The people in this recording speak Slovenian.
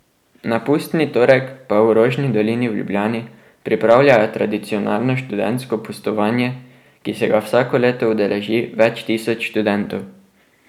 Na pustni torek pa v Rožni dolini v Ljubljani pripravljajo tradicionalno študentsko pustovanje, ki se ga vsako leto udeleži več tisoč študentov.